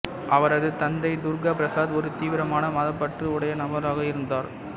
அவரது தந்தை துர்கா பிரசாத் ஒரு தீவீரமான மதப்பற்று உடைய நபராக இருந்தார்